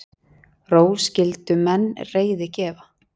Ró skyldu menn reiði gefa.